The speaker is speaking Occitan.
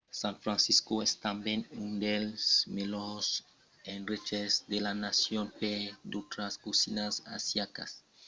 san francisco es tanben un dels melhors endreches de la nacion per d'autras cosinas asiaticas: coreana tai indiana e japonesa